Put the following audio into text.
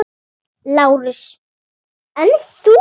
LÁRUS: En þú?